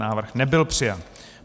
Návrh nebyl přijat.